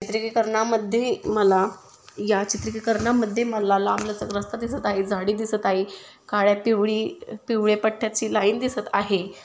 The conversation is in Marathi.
चित्रीकरणा मधे मला या चित्रीकरना मधे लांब लचक रस्ता दिसत आहे. झाड़ी दिसत आहे. काळ्या पिवळी पिवळ्या पट्ट्याची लाइन दिसत आहे.